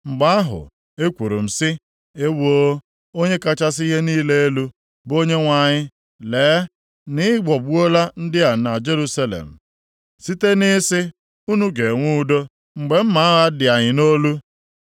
Mgbe ahụ ekwuru m sị; “Ewoo, Onye kachasị ihe niile elu, bụ Onyenwe anyị lee na ị ghọgbuola ndị a na Jerusalem site na ị sị, ‘Unu ga-enwe udo,’ mgbe mma agha dị anyị nʼolu.”